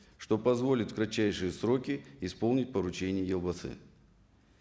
что позволит в кратчайшие сроки исполнить поручение елбасы